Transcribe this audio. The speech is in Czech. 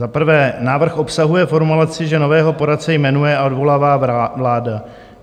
Za prvé, návrh obsahuje formulaci, že nového poradce jmenuje a odvolává vláda.